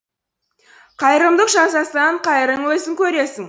қайырымдылық жасасаң қайырын өзің көресің